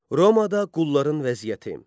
Romada qulların vəziyyəti.